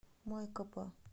майкопа